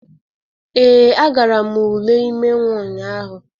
Ee, agara m ule ime nnwa ụnyahụ